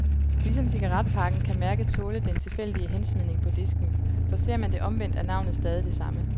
Ligesom cigaretpakken, kan mærket tåle den tilfældige hensmidning på disken, for ser man det omvendt, er navnet stadig det samme.